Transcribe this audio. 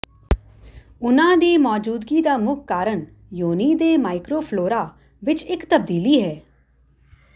ਉਨ੍ਹਾਂ ਦੀ ਮੌਜੂਦਗੀ ਦਾ ਮੁੱਖ ਕਾਰਨ ਯੋਨੀ ਦੇ ਮਾਈਕਰੋਫਲੋਰਾ ਵਿਚ ਇਕ ਤਬਦੀਲੀ ਹੈ